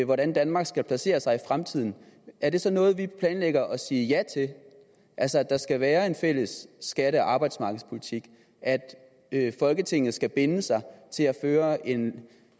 hvordan danmark skal placere sig i fremtiden er det så noget man planlægger at sige ja til altså at der skal være en fælles skatte og arbejdsmarkedspolitik at folketinget skal binde sig til at føre en